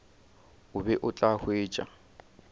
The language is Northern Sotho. o be o tla hwetša